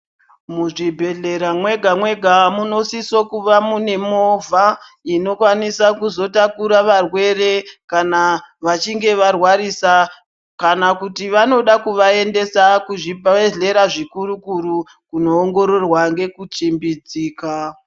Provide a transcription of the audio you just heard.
Muzvibhehlera mwega-mwega munosiso kuva mune movha inokwanisa kuzotakura varwere kana vachinge varwarisa kana kuti vanoda kuvaendesa kuzvibhehlera zvikuru-kuru kunoongororwa nekuchimbidzika.